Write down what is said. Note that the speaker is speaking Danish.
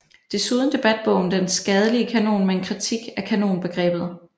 Desuden debatbogen Den skadelige kanon med en kritik af kanonbegrebet